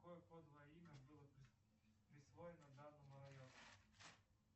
какое кодовое имя было присвоено данному району